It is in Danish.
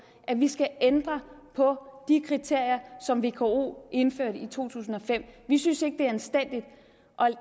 at vi skal ændre på de kriterier som vko indførte i to tusind og fem vi synes ikke anstændigt at